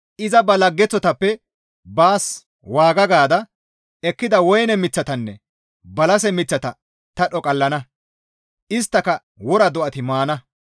Iza ba laggeththotappe baas waaga gaada ekkida woyne miththatanne balase miththata ta dhoqallana. Isttaka wora do7ati maana.